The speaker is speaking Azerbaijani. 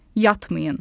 Yatmayın.